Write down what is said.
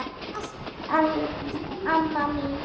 Takk fyrir allt, amma mín.